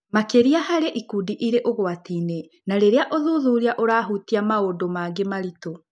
Makĩria harĩ ikundi iria irĩ ũgwati-inĩ na rĩrĩa ũthuthuria ũrahutia maũndũ mangĩ maritũ.